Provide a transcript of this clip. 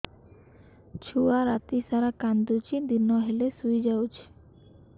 ଛୁଆ ରାତି ସାରା କାନ୍ଦୁଚି ଦିନ ହେଲେ ଶୁଇଯାଉଛି